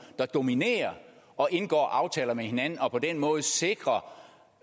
der dominerer og indgår aftaler med hinanden og på den måde sikrer